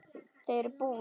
Þau eru bús.